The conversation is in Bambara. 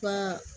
Ka